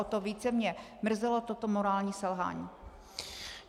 O to více mě mrzelo toto morální selhání.